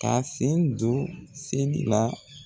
Ka sen don seli la.